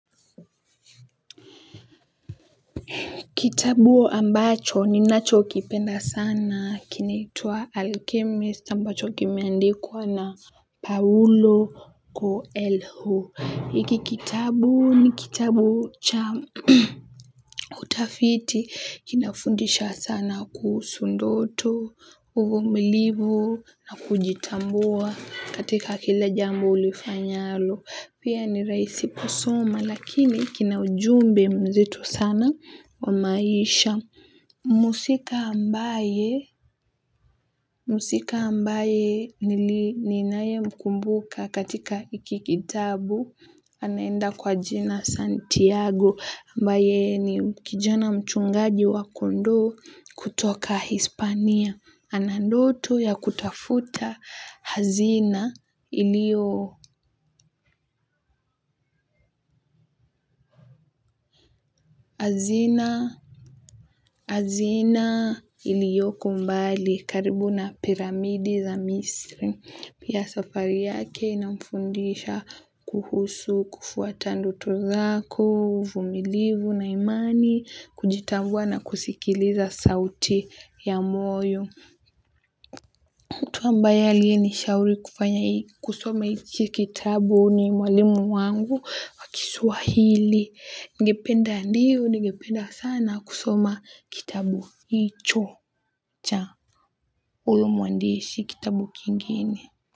Kitabu ambacho ninachokipenda sana kinaitwa alchemist ambacho kimeandikwa na paulo ko elhu hiki kitabu ni kitabu cha kutafiti kinafundisha sana kuhusu ndoto uvumilivu na kujitambua katika kila jambo ulifanyalo pia ni rahisi kusoma lakini kina ujumbe mzito sana wa maisha. Mhusika ambaye mhusika ambaye nili ninayemkumbuka katika hiki kitabu. Anaenda kwa jina Santiago ambaye ni kijana mchungaji wa kondoo kutoka Hispania. Ana ndoto ya kutafuta hazina iliyo hazina iliyoko mbali karibu na piramidi za misri. Pia safari yake inafundisha kuhusu, kufuata ndoto zako uvumilivu na imani kujitambua na kusikiliza sauti ya moyo. Mtu ambaye aliyenishauri kufanya kusoma hichi kitabu ni mwalimu wangu wa kiswahili ningependa ndiyo, ningependa sana kusoma kitabu hicho cha huyu mwandishi kitabu kingine.